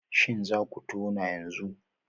Shin za ku tona yanzu?